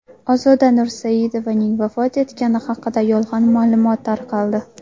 Ozoda Nursaidovaning vafot etgani haqida yolg‘on ma’lumot tarqaldi.